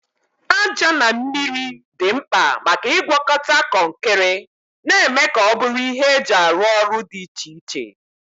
Aja na mmiri dị mkpa maka ịgwakọta kọnkịrị, na-eme ka ọ bụrụ ihe eji arụ ọrụ dị iche iche.